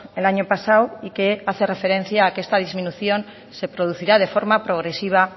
el año pasado y que hace referencia a que esta disminución se producirá de forma progresiva